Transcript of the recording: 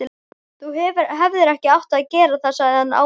Þú hefðir ekki átt að gera það sagði hann ávítandi.